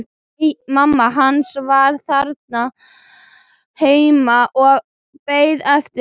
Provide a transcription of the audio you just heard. Nei, mamma hans var þarna heima og beið eftir honum.